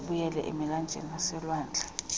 abuyele emilanjeni naselwandle